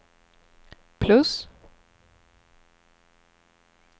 plus